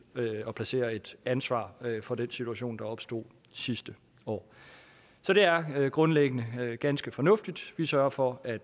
at placere et ansvar for den situation der opstod sidste år så det er grundlæggende ganske fornuftigt vi sørger for at